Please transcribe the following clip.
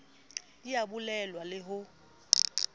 di a bulelwa le ho